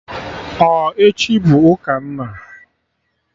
Ọ echi bụ ụka nna?